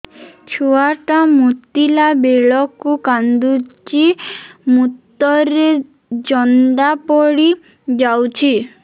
ଛୁଆ ଟା ମୁତିଲା ବେଳକୁ କାନ୍ଦୁଚି ମୁତ ରେ ଜନ୍ଦା ପଡ଼ି ଯାଉଛି